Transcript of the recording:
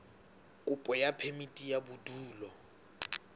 kopo ya phemiti ya bodulo